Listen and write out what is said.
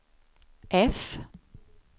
F